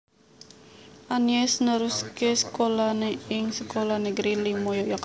Anies neruské sekolah né ing Sekolah Negeri limo Yogyakarta